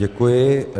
Děkuji.